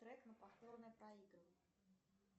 трек на повторное проигрывание